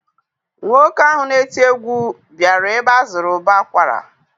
Nwoke ahụ na-eti egwu bịara ebe a zụrụ ụbọ akwara